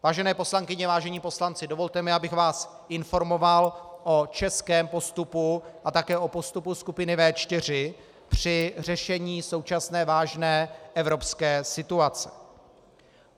Vážené poslankyně, vážení poslanci, dovolte mi, abych vás informoval o českém postupu a také o postupu skupiny V4 při řešení současné vážné evropské situace.